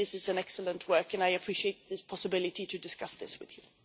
I think this is an excellent work and I appreciate this possibility to discuss this with you.